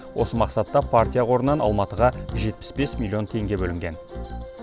осы мақсатта партия қорынан алматыға жетпіс бес миллион теңге бөлінген